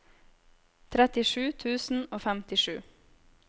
trettisju tusen og femtisju